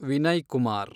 Vinay Kumar